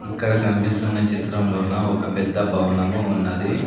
ఇక్కడ కనిపిస్తున్న చిత్రము లోనా ఒక పెద్ద భవనము ఉన్నది.